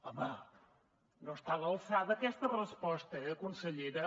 home no està a l’alçada aquesta resposta eh consellera